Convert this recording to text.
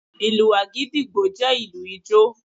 Ìlù Àgídìgbo jẹ́ ìlù ijó.